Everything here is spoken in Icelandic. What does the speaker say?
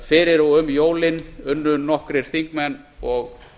fyrir og um jólin unnu nokkrir þingmenn og